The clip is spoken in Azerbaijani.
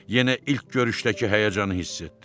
Yenə ilk görüşdəki həyəcanı hiss etdi.